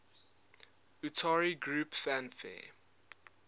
utari groups fanfare